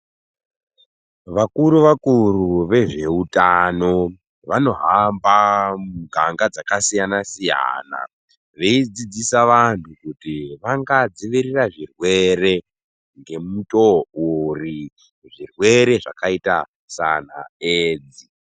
Vakuru vakuru vezveutano vanohamba muganga dzakasiyana-siyana veidzidzisa vantu kuti vangadziirira seizvirwere, ngemutoo uri, zvirwere zvakaita sanaedzi.